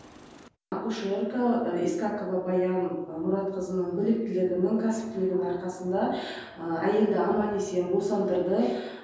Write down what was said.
акушерка искакова баянның мұратқызының біліктілігінің кәсіптінігінің арқасында әйелді аман есен босандырды